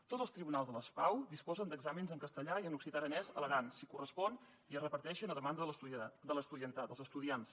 tots els tribunals de les pau disposen d’exàmens en castellà i en occità aranès a l’aran si correspon i es reparteixen a demanda de l’estudiantat